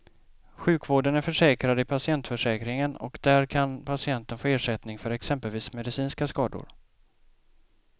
Sjukvården är försäkrad i patientförsäkringen och där kan patienten få ersättning för exempelvis medicinska skador.